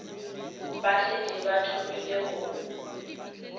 ba šetše ba thomile go